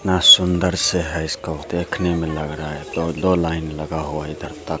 इतना सुंदर से है इसको देखने में लग रहा है दो-दो लाइन लगा हुआ है इधर तक।